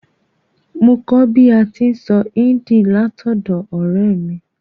Mo kó bi a ti n sọ Hindi látọ̀dọ̀ ọ̀rẹ́ mi